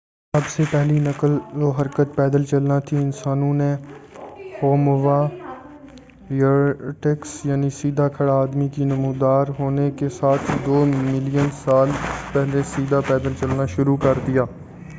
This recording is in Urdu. سب سے پہلی نقل و حرکت پیدل چلنا تھی، انسانوں نے ہوموایریکٹس یعنی سیدھا کھڑا آدمی کی نمودار ہونے کے ساتھ ہی دو ملین سال پہلے سیدھا پیدل چلنا شروع کردیا۔